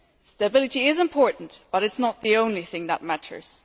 Stability is important, but it is not the only thing that matters.